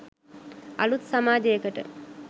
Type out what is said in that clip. අලුත් සමාජයකට